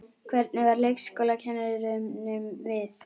Hvernig varð leikskólakennurunum við?